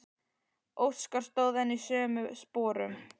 Óskar stóð enn í sömu sporum.